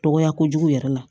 Dɔgɔya kojugu yɛrɛ la